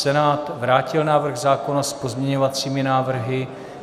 Senát vrátil návrh zákona s pozměňovací návrhy.